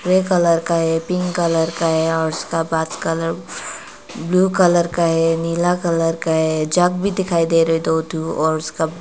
grey colour का है pink colour का है और उसका बाद कलर ब्लू कलर का है नीला कलर का है जग भी दिखाई दे रहे दो ठो और उसका--